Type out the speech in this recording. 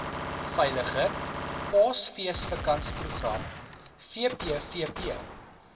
veiliger paasfeesvakansieprogram vpvp